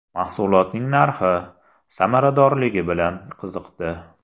Mahsulotning narxi, samaradorligi bilan qiziqdi.